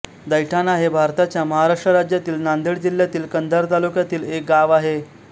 दैठाणा हे भारताच्या महाराष्ट्र राज्यातील नांदेड जिल्ह्यातील कंधार तालुक्यातील एक गाव आहे